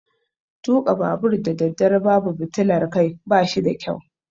Tuka babur daddare babu fitilar Kai bashi da ƙyau.